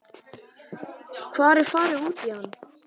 Hvar er farið út í hann?